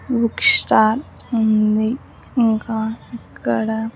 Book stall ఉంది ఇంకా ఇక్కడ.